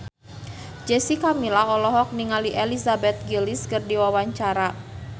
Jessica Milla olohok ningali Elizabeth Gillies keur diwawancara